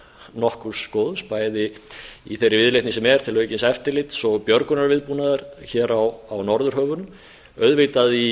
nokkurs góðs bæði í þeirri viðleitni sem er til aukins eftirlits og björgunarviðbúnaðar hér í norðurhöfum auðvitað í